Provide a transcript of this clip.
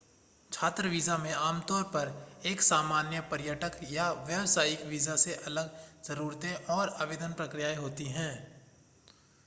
छात्र वीज़ा में आमतौर पर एक सामान्य पर्यटक या व्यावसायिक वीज़ा से अलग ज़रूरतें और आवेदन प्रक्रियाएं होती हैं